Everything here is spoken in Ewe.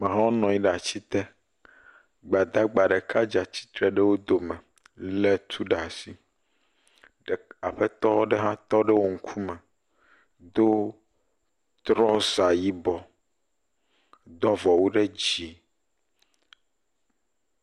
… nɔ anyi ɖe ati te. Gbadagba ɖeka dze atsitre ɖe wo dome lé tu ɖe asi. Aƒetɔ aɖe hã tɔ ɖe wo ŋkume do trɔza yibɔ, do avɔwu ɖe dzi.